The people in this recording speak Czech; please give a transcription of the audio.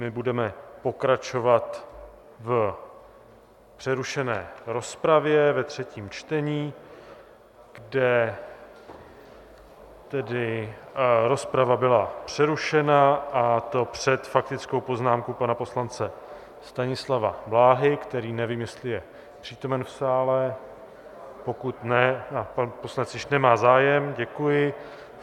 My budeme pokračovat v přerušené rozpravě ve třetím čtení, kde tedy rozprava byla přerušena, a to před faktickou poznámkou pana poslance Stanislava Blahy, který, nevím, jestli je přítomen v sále, pokud ne - a pan poslanec již nemá zájem, děkuji.